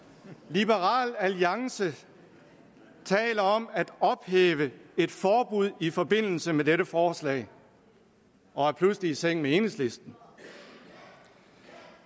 liberal alliance taler om at ophæve et forbud i forbindelse med dette forslag og er pludselig i seng med enhedslisten